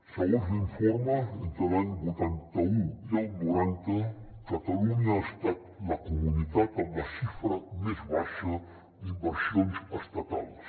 segons l’informe entre l’any vuitanta un i el noranta catalunya ha estat la comunitat amb la xifra més baixa d’inversions estatals